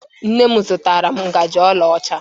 Nne m zụtara m njaji ọla ọcha.